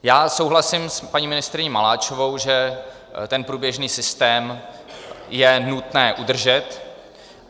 Já souhlasím s paní ministryní Maláčovou, že ten průběžný systém je nutné udržet.